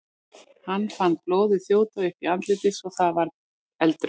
Hann fann blóðið þjóta upp í andlitið svo að það varð eldrautt.